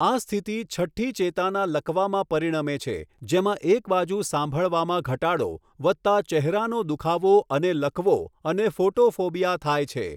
આ સ્થિતિ છઠ્ઠી ચેતાના લકવામાં પરિણમે છે, જેમાં એક બાજુ સાંભળવામાં ઘટાડો, વત્તા ચહેરાનો દુખાવો અને લકવો, અને ફોટોફોબિયા થાય છે.